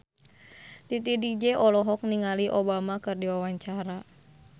Titi DJ olohok ningali Obama keur diwawancara